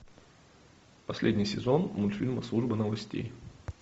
последний сезон мультфильма служба новостей